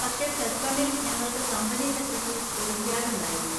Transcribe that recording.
പക്ഷെ പ്ലസ് വണ്ണിൽ ഞങ്ങൾക്ക് കമ്പനി സെക്രട്ടറീസ് ഒളിമ്പ്യാഡ് ഉണ്ടായിരുന്നു.